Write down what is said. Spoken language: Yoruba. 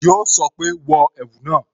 Yo sọ pé "wọ ẹ̀wù náà"